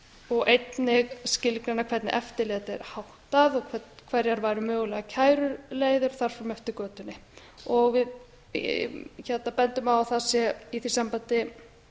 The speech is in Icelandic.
og einnig skilgreina hvernig eftirliti er háttað hvernig væru mögulegar kæruleiðir og þar fram eftir götunum við bendum á að það sé í því sambandi